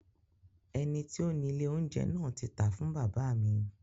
Ẹni tí ó ni ilé oúnjẹ náà ti tàá fún bàbá mi.